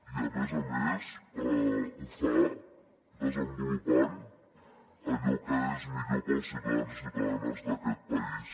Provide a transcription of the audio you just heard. i a més a més ho fa desenvolupant allò que és millor per als ciutadans i ciutadanes d’aquest país